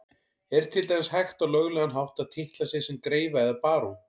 Er til dæmis hægt á löglegan hátt að titla sig sem greifa eða barón?